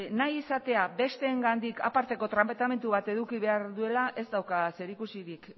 nahi izatea besteengandik aparteko tratamendu bat eduki behar duela ez dauka zerikusirik